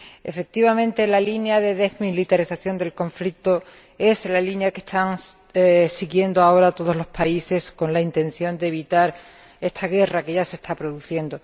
Efectivamente, la línea de desmilitarización del conflicto es la línea que están siguiendo ahora todos los países, con la intención de evitar esta guerra que ya se está produciendo.